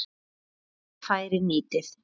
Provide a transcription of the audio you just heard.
Ykkar færi nýtið.